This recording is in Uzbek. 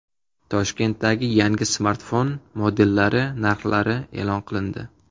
Toshkentdagi yangi smartfon modellari narxlari e’lon qilindi.